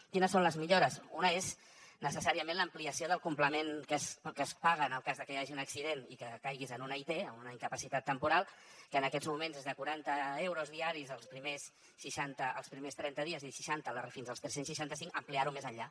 quines són les millores una és necessàriament l’ampliació del complement que es paga en el cas de que hi hagi un accident i que caiguis en una it en una incapacitat temporal que en aquests moments és de quaranta euros diaris els primers trenta dies i de seixanta fins als tres cents i seixanta cinc ampliar ho més enllà